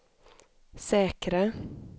säkra